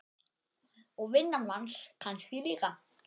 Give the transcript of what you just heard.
Og vinnan manns kannski líka.